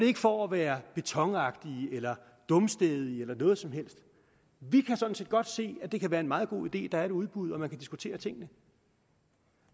ikke for at være betonagtig eller dumstædig eller noget som helst vi kan sådan set godt se at det kan være en meget god idé at der er et udbud og at man kan diskutere tingene